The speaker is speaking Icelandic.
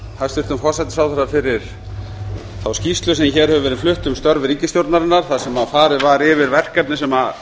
hæstvirtum forsætisráðherra fyrir þá skýrslu sem hér hefur verið flutt um störf ríkisstjórnarinnar þar sem farið var yfir verkefni sem